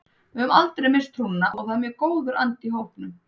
Við höfum aldrei misst trúna og það er mjög góður andi í hópnum.